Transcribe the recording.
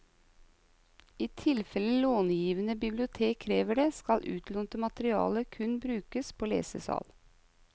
I tilfelle långivende bibliotek krever det, skal utlånt materiale kun brukes på lesesal.